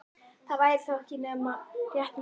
Það væri þá ekki nema rétt mátulegt á hann.